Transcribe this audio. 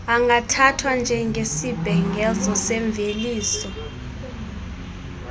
angathathwa njengesibhengezo semveliso